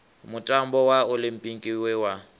mutambo wa oḽimpiki we wa